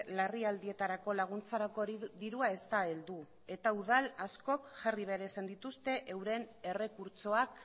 larrialdietarako laguntzarako dirua ez da heldu eta udal askok jarri behar izan dituzte euren errekurtsoak